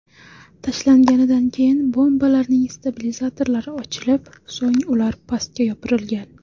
Tashlanganidan keyin bombalarning stabilizatorlari ochilib, so‘ng ular pastga yopirilgan.